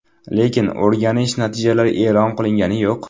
Lekin o‘rganish natijalari e’lon qilingani yo‘q.